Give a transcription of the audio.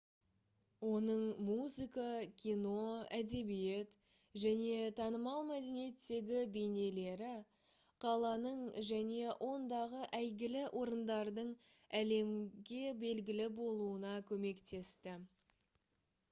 оның музыка кино әдебиет және танымал мәдениеттегі бейнелері қаланың және ондағы әйгілі орындардың әлемге белгілі болуына көмектесті